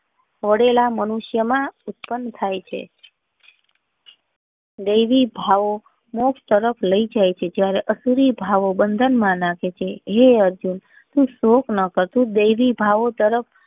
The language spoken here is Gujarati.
પડેલા મનુષ્ય ના ઉત્પ્ન્ન થાય છે દેવી ભાવો મોક્ષ તરફ લઇ જાય છે જયારે આસુરી ભાવો બંધન માં નાખે છે હે અર્જુન તું દ્રેષ ના કરતો.